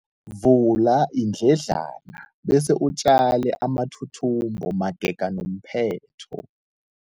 Vula iindledlana bese utjale amathuthumbo magega nomphetho.